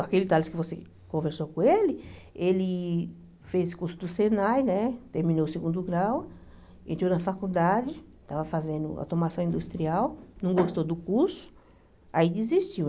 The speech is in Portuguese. Aquele Tales que você conversou com ele, ele fez curso do SENAI, né terminou o segundo grau, entrou na faculdade, estava fazendo automação industrial, não gostou do curso, aí desistiu.